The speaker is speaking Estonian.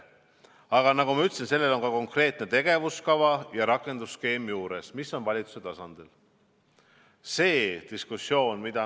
Aga nagu ma ütlesin, sellel on ka konkreetne tegevuskava ja rakendusskeem juures, mis on valitsuse tasandi dokument.